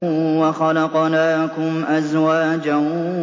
وَخَلَقْنَاكُمْ أَزْوَاجًا